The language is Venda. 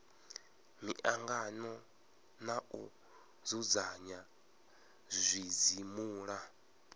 miangano na u dzudzanya zwidzimula